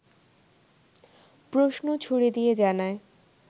প্রশ্ন ছুড়ে দিয়ে জানায়